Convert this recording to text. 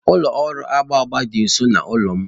Ụlọ ọrụ agba agba dị nso n'ụlọ m